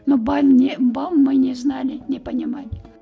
но не бал мы не знали не понимали